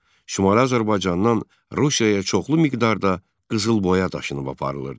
Şimali Azərbaycandan Rusiyaya çoxlu miqdarda qızılboya daşınıb aparılırdı.